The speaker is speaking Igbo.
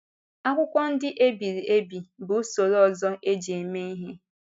Akwụkwọ ndị e biri ebi bụ usoro ọzọ e ji mee ihe.